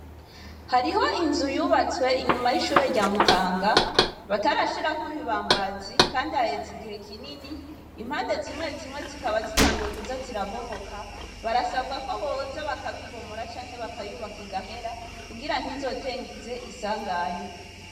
Hariho inzu yubatswe inyuma yishure rya Mutanga batarashirako ibibambazi kandi haheze igihe kinini, impande zimwe zimwe zikaba zitanguye kuza zirabomoka barasaba ko boza bakabibomora canke bakayubaka igahera kugira ntizoteze isanganya.